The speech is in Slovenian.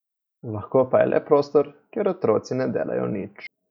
Lahko pa je le prostor, kjer otroci ne delajo nič.